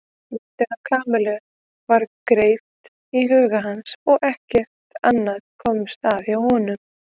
Myndin af Kamillu var greipt í huga hans og ekkert annað komst að hjá honum.